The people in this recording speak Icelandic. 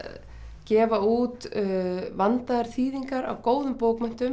gefa út vandaðar þýðingar á góðum bókmenntum